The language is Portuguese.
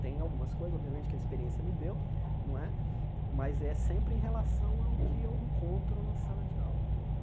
Tem algumas coisas, obviamente, que a experiência me deu não é, mas é sempre em relação ao que eu encontro na sala de aula né.